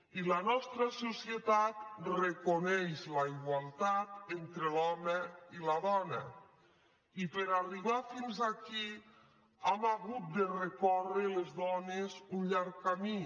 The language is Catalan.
i la nostra societat reconeix la igualtat entre l’home i la dona i per arribar fins aquí hem hagut de recórrer les dones un llarg camí